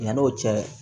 Yan'o cɛ